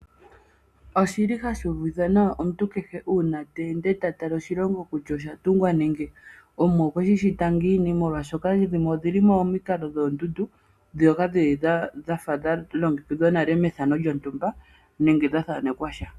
Ohashi uvitha nawa omuntu kehe uuna ta ende ta tala oshilongo kutya oshatungwa nenge Omwa okwe shi shita ngiini molwaashoka dhimwe odhi li momikalo dhoondundu ndhoka dhafa dha longekidhwa nale mefano lyontumba nenge dha thaanekwa sha.